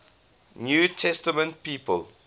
new testament people